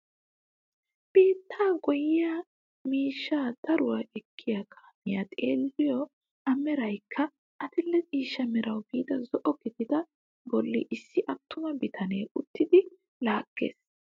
Biittaa goyiyaa miishshaa daruwaa ekkiyaa kaamiyaa xeelliyoo a meraykka adil'e ciishsha merawu biida zo'o gidaagaa bolli issi attuma bitanee uttidi laaggees!